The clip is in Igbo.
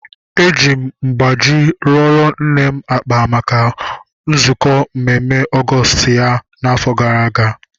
Eji m mgbaji rụọro nne m akpa maka nzukọ mmemme Ọgọọst ya afọ gara aga